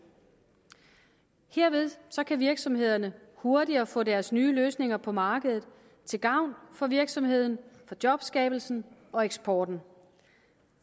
herved kan virksomhederne hurtigere få deres nye løsninger på markedet til gavn for virksomheden jobskabelsen og eksporten